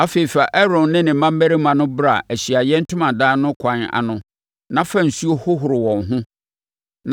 “Afei, fa Aaron ne ne mmammarima no bra Ahyiaeɛ Ntomadan no ɛkwan ano na fa nsuo hohoro wɔn ho